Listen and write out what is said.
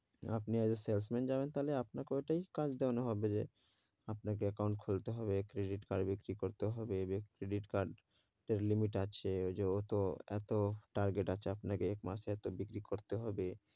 আপনি as a salesman যাবেন, তাহলে আপনাকে ওটাই কাজ দেয়ানো হবে যে আপনাকে account খুলতে হবে, credit card বিক্রি করতে হবে credit card এর limit আছে ওই যে ও তো এতো target আছে আপনাকে এক মাসে এতো বিক্রি করতে হবে,